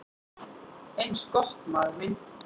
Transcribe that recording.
"""Eins gott, maður minn"""